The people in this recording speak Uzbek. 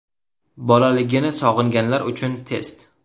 Bolaligini sog‘inganlar uchun test.